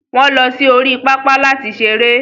wọ́n lọ sí orí pápá láti seré.